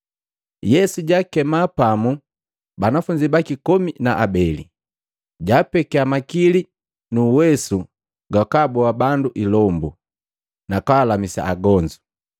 Yesu jaakema pamu banafunzi baki komi na abeli, jaapekia makili nu uwesu gwakaboa bandu ilombu, nakwalamisa agonzu.